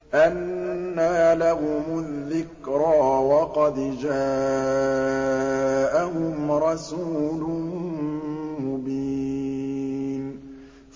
أَنَّىٰ لَهُمُ الذِّكْرَىٰ وَقَدْ جَاءَهُمْ رَسُولٌ مُّبِينٌ